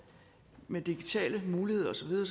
med digitale muligheder og så videre